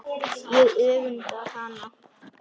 Ég öfunda hana.